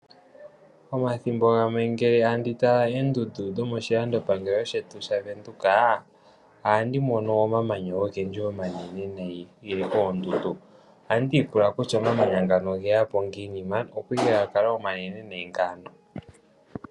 Omathimbo gamwe ngele tandi tala oondundu dhomoshilando pangelo shetu shaVenduka ohandi mono omamanya ogendji omanene nayi, geli koondundu. Ohandi ipula kutya omamanya ngano oge ya po ngiini man, opo ike ga kala omanene nee ngano.